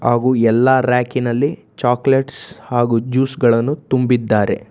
ಹಾಗೂ ಎಲ್ಲಾ ರ್ಯಾಕಿ ನಲ್ಲಿ ಚಾಕಲೇಟ್ಸ್ ಹಾಗೂ ಜ್ಯೂಸ್ ಗಳನ್ನು ತುಂಬಿದ್ದಾರೆ.